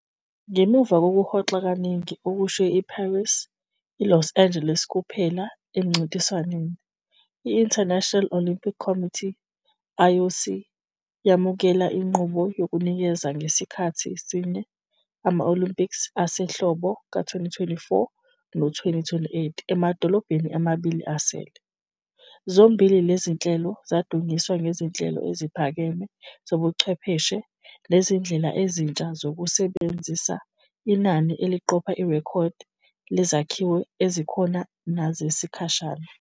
Ngemuva kokuhoxa kaningi okushiye IParis ILos Angeles kuphela emncintiswaneni, i-International Olympic Committee, IOC, yamukela inqubo yokunikeza ngasikhathi sinye ama-Olympics asehlobo ka-2024 no-2028 emadolobheni amabili asele, zombili lezi zinhlelo zadunyiswa ngezinhlelo eziphakeme zobuchwepheshe nezindlela ezintsha zokusebenzisa inani eliqopha irekhodi lezakhiwo ezikhona nezesikhashana.